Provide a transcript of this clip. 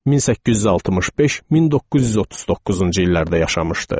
1865-1939-cu illərdə yaşamışdı.